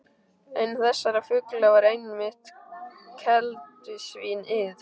Einn þessara fugla var einmitt keldusvín- ið.